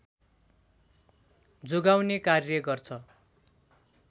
जोगाउने कार्य गर्छ